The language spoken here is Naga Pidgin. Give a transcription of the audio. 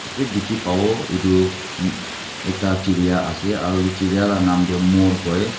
tey dekhe papo etu em ekta jereya ase aro etu jereya la num tu moi koi.